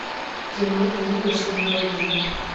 кино книга судного дня